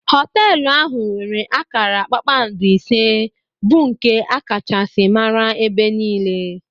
Hotelu ahụ nwere akara kpakpando ise bu nke Akachasi mara ebe niile.